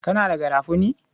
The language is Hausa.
Kana da garafuni?